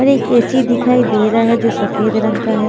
और एक ए_सी दिखाई दे रहा है जो सफेद रंग का है।